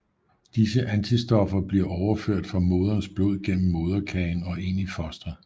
Disse antistoffer bliver overført fra moderens blod gennem moderkagen og ind i fostret